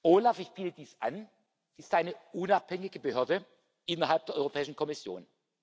OLAF ich biete dies an ist eine unabhängige Behörde innerhalb der Europäischen Kommission.